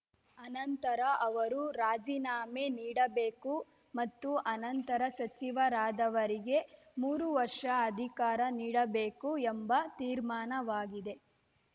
ಅನಂತರ ಅವರು ರಾಜೀನಾಮೆ ನೀಡಬೇಕು ಮತ್ತು ಅನಂತರ ಸಚಿವರಾದವರಿಗೆ ಮೂರು ವರ್ಷ ಅಧಿಕಾರ ನೀಡಬೇಕು ಎಂಬ ತೀರ್ಮಾನವಾಗಿದೆ